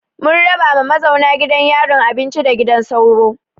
Mun raba ma mazauna gidan yarin abinci da gidan sauro.